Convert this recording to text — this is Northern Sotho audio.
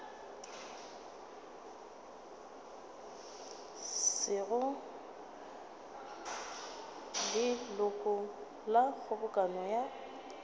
sego leloko la kgobokano ya